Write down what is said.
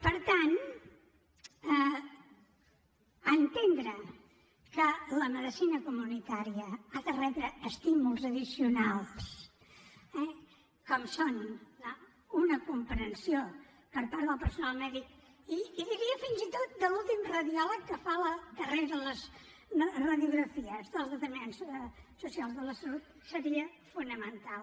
per tant entendre que la medicina comunitària ha de rebre estímuls addicionals eh com són una comprensió per part del personal mèdic i diria fins i tot de l’últim radiòleg que fa la darrera de les radiografies dels determinants socials de la salut seria fonamental